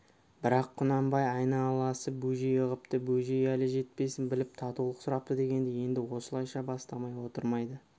бірақ құнанбай айналасы бөжей ығыпты бөжей әлі жетпесін біліп татулық сұрапты дегенді енді осылайша бастамай отырмайды